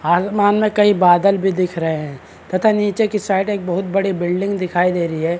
आसमान में कहीं बादल भी दिख रहे हैं तथा नीचे की साइड एक बहुत बड़ी बिल्डिंग दिखाई दे रही है।